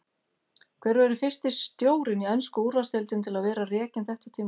Hver verður fyrsti stjórinn í ensku úrvalsdeildinni til að vera rekinn þetta tímabilið?